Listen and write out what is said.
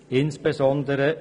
Es steht: